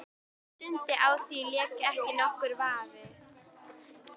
Þetta var Dundi, á því lék ekki nokkur vafi.